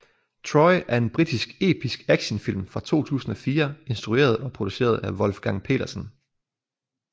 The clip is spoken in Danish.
Troy er en britisk episk actionfilm fra 2004 instrueret og produceret af Wolfgang Petersen